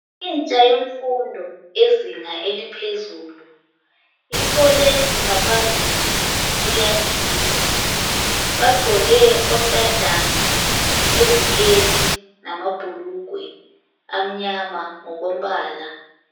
Intsha yemfundo yezinga eliphezulu ifole ngaphambili kuyagiywa. Bagqoke ontanjana leziketi lamabhulugwe amnyama ngokombala